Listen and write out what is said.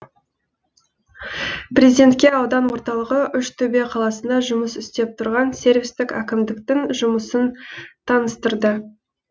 президентке аудан орталығы үштөбе қаласында жұмыс істеп тұрған сервистік әкімдіктің жұмысын таныстырды